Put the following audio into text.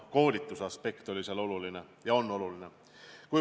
Koolituse aspekt oli ja on oluline.